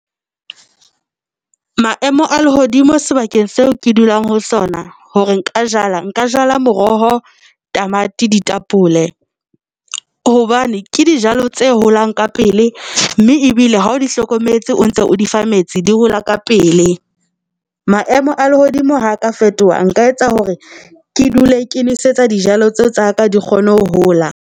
Maemo a lehodimo sebakeng seo ke dulang ho sona hore nka jala, nka jala moroho, tamati ditapole hobane ke dijalo tse holang ka pele, mme ebile ha o di hlokometse, o ntse o di fa metsi di hola ka pele maemo a lehodimo ha ka fetoha. A nka etsa hore ke dule nosetsa dijalo tseo tsa ka di kgone ho hola.